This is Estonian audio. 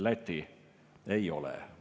Läti ei ole.